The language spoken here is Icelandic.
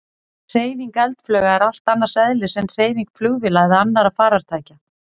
Hreyfing eldflauga er allt annars eðlis en hreyfing flugvéla eða annarra farartækja.